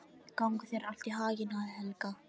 Gangi þér allt í haginn, Helga.